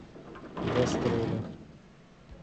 гастроли